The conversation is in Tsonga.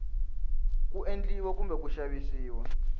ku endliwa kumbe ku xavisiwa